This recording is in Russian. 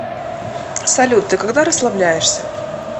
салют ты когда расслабляешься